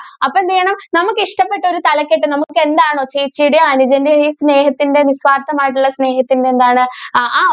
അപ്പോ എന്ത് ചെയ്യണം? നമുക്ക് ഇഷ്ടപ്പെട്ട ഒരു തലക്കെട്ട് നമുക്ക് എന്താണ് ചേച്ചിയുടെയും അനുജന്റെയും ഈ സ്നേഹത്തിന്റെ നിസ്വാർഥം ആയിട്ടുള്ള സ്നേഹത്തിന്റെ എന്താണ് ആ